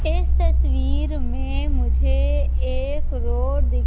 इस तस्वीर में मुझे एक रोड दिख--